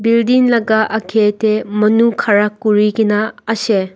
building laga aage de manu khara kuri gina ase.